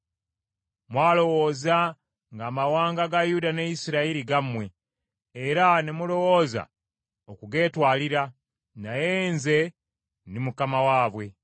“ ‘Mwalowooza nga amawanga ga Yuda ne Isirayiri gammwe, era ne mulowooza okugeetwalira. Naye nze ndi Mukama waabwe,